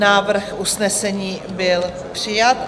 Návrh usnesení byl přijat.